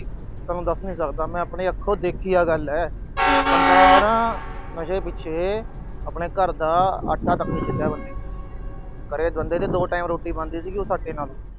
ਤੁਹਾਨੂੰ ਦੱਸ ਨੀ ਸਕਦਾ ਮੈਂ, ਆਹ ਆਪਣੇ ਅੱਖੋਂ ਦੇਖੀ ਆਹ ਗੱਲ ਆ। ਬੰਦਾ ਨਾ ਨਸ਼ੇ ਪਿੱਛੇ ਆਪਣੇ ਘਰ ਦਾ ਆਟਾ ਨੀ ਛੱਡਿਆ ਬੰਦੇ ਨੇ। ਬੰਦੇ ਦੇ ਦੋ time ਰੋਟੀ ਬਣਦੀ ਸੀ। ਸਾਡੇ ਨਾਲੋਂ